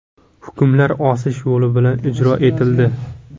Hukmlar osish yo‘li bilan ijro etildi.